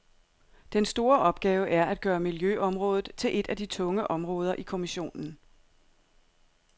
Den store opgave er at gøre miljøområdet til et af de tunge områder i kommissionen.